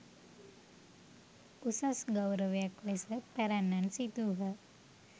උසස් ගෞරවයක් ලෙස පැරැන්නන් සිතූහ.